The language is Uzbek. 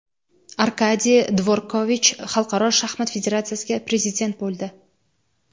Arkadiy Dvorkovich Xalqaro shaxmat federatsiyasiga prezident bo‘ldi.